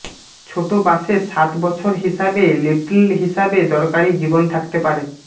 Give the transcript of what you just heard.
ছোট বাসে সাত বছর হিসাবে লিটল হিসাবে দরকারী জীবন থাকতে পারে